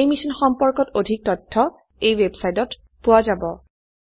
এই মিশ্যন সম্পৰ্কত অধিক তথ্য spoken hyphen tutorial dot org slash এনএমইআইচিত হাইফেন ইন্ট্ৰ এই ৱেবচাইটত পোৱা যাব